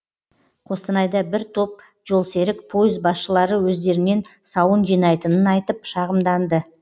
қостанайда бір топ жолсерік пойыз басшылары өздерінен сауын жинайтынын айтып шағымданды